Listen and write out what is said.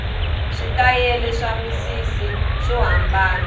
switayele swa misisi swo hambanana